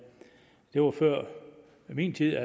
det var før min tid